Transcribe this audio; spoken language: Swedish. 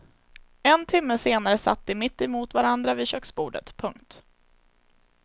En timme senare satt de mitt emot varandra vid köksbordet. punkt